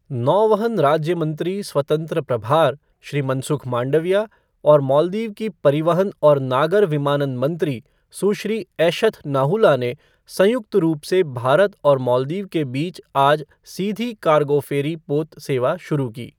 नौवहन राज्य मंत्री स्वतंत्र प्रभार, श्री मनसुख मांडविया और मालदीव की परिवहन और नागर विमानन मंत्री, सुश्री ऐशथ नाहुला ने संयुक्त रूप से भारत और मालदीव के बीच आज सीधी कार्गो फ़ेरी पोत सेवा शुरू की।